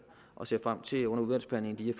og ser frem til under udvalgsbehandlingen lige